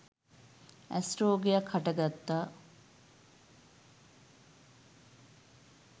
ඇස් රෝගයක් හට ගත්තා.